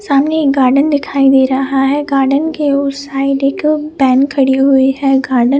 सामने एक गार्डन दिखाई दे रहा है गार्डन के साइड में वेन खड़ी हुई है।